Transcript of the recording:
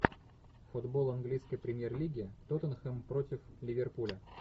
футбол английской премьер лиги тоттенхэм против ливерпуля